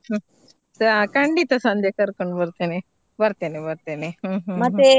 ಹಾ ಖಂಡಿತ ಸಂಧ್ಯಾ ಕರ್ಕೊಂಡ್ಬರ್ತೆನೆ ಬರ್ತೆನೆ ಬರ್ತೆನೆ ಹು ಹು .